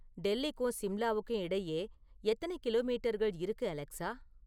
டெல்லிக்கும் சிம்லாவுக்கும் இடையே எத்தனை கிலோமீட்டர்கள் இருக்கு அலெக்ஸா